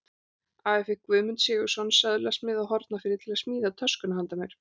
Afi fékk Guðmund Sigurðsson, söðlasmið á Hornafirði, til að smíða töskuna handa mér.